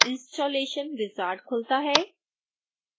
installation wizard खुलता है